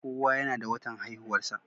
kowa yana da watan haihuwarsa